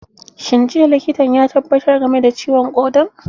Shin jiya likitan ya tabbatar game da ciwon ƙodan?